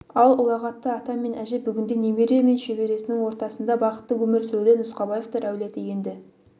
ал ұлағатты ата мен әже бүгінде немере мен шөбересінің ортасында бақытты өмір сүруде нұсқабаевтар әулеті енді